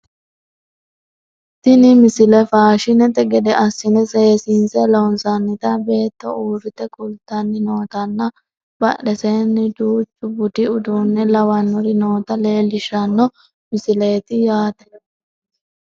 tini misile faashinete gede assine seesiinse loonsoonnita beetto uurrite kultanni nootanna badheseenni duuchu budu uduunne lawannori noota leellishshanno misileeti yaate